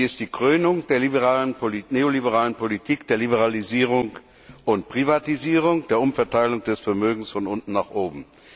Sie ist die Krönung der neoliberalen Politik der Liberalisierung und Privatisierung, der Umverteilung des Vermögens von unten nach oben.